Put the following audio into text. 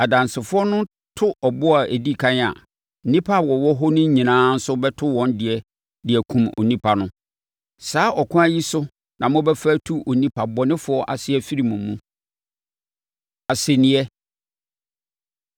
Adansefoɔ no to ɔboɔ a ɛdi ɛkan a, nnipa a wɔwɔ hɔ no nyinaa nso bɛto wɔn deɛ de akum onipa no. Saa ɛkwan yi so na mobɛfa atu onipa bɔnefoɔ ase afiri mo mu. Asɛnniiɛ